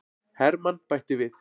Hermann bætti við.